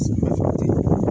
Samiya fɛ a ti